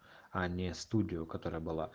они студию которая была